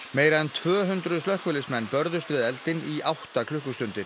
meira en tvö hundruð slökkviliðsmenn börðust við eldinn í átta klukkustundir